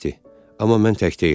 amma mən tək deyiləm.